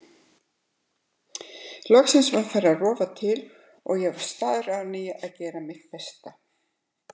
Loksins var farið að rofa til og ég var staðráðin í að gera mitt besta.